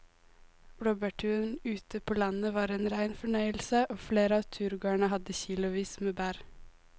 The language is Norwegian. Blåbærturen ute på landet var en rein fornøyelse og flere av turgåerene hadde kilosvis med bær.